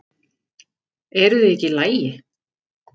Eruð þið ekki í lagi